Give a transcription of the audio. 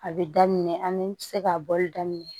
A bɛ daminɛ an bɛ se k'a bɔli daminɛ